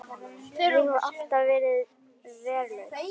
Ég hef alltaf verið hraust.